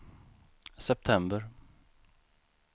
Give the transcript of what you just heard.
september